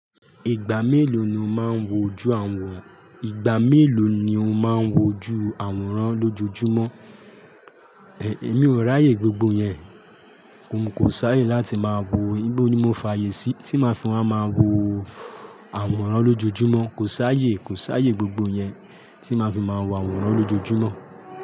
Ìgbà mélòó ni o máa ń wo ju àwòrán? Ìgbà mélòó ni o máa ń wo ju àwòrán lójoojúmọ́? Èmi ò ráyè gbogbo yẹn, mo kò sáyé láti máa wo, íbó ni mo fààyè sí tí máa fi máa máa wo àwòrán lójoojúmọ́? Kò sáyé, kò sáyé gbogbo yẹn tí máa fi máa wo àwòrán lójoojúmọ́.